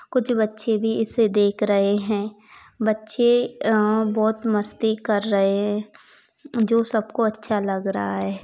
कुछ बच्चे भी इसे देख रहे हैं बच्चे आ बहुत मस्ती कर रहे जो सबको अच्छा लग रहा है।